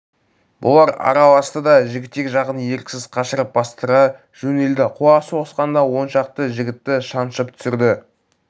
бұлар араласты да жігітек жағын еріксіз қашырып бастыра жөнелді қуа соғысқанда он шақты жігітті шаншып түсірді